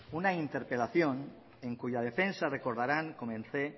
una interpelación en cuya defensa recordarán comencé